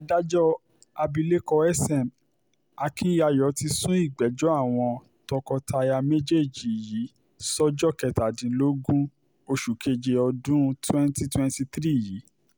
adájọ́ abilékọ sm akinyayo ti sún ìgbẹ́jọ́ àwọn tọkọ-taya méjèèjì yìí sọ́jọ́ kẹtàdínlógún oṣù keje ọdún twenty twenty three yìí